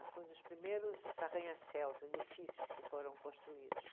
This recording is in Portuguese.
Foi um dos primeiros arranha-céus, edifícios que foram construídos.